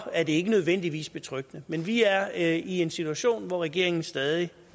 er det ikke nødvendigvis betryggende men vi er i en situation hvor regeringen stadig